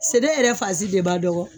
Sɛnɛ yɛrɛ fan si de man dɔgɔ.